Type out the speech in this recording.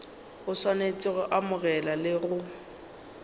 swanetše go amogela le go